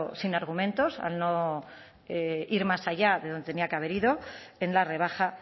sin argumentos al no ir más allá de donde tenía que haber ido en la rebaja